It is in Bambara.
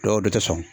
Dɔw de tɛ sɔn